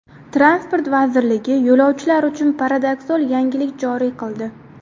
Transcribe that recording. Transport vazirligi yo‘lovchilar uchun paradoksal yangilik joriy qildi.